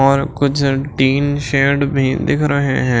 और कुछ तीन शेड भी दिख रहे हैं।